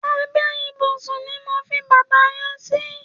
Àbè ibúsún ni mó fi bàtá yèn si